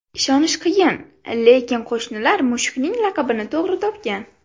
Ishonish qiyin, lekin qo‘shnilar mushukning laqabini to‘g‘ri topgan.